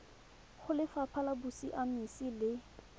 go lefapha la bosiamisi le